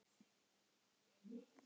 Eða er það einhver annar?